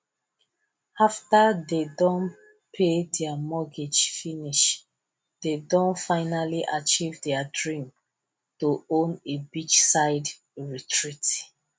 after dey don pay their mortgage finish dey don finally achieve their dream to own a beachside retreat